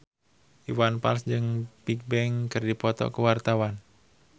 Iwan Fals jeung Bigbang keur dipoto ku wartawan